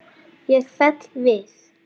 Ég fell við.